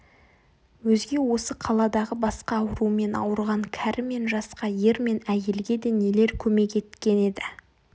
өзге осы қаладағы басқа аурумен ауырған кәрі мен жасқа ер мен әйелге де нелер көмек еткен еді